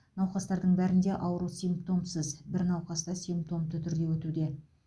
науқастардың бәрінде ауру симптомсыз бір науқаста симптомды түрде өтуде